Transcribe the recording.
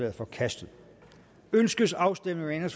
er forkastet ønskes afstemning